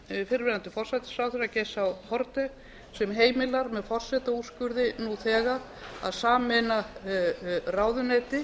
tíð fyrrverandi forsætisráðherra geirs h haarde sem heimilar með forsetaúrskurði nú þegar að sameina ráðuneyti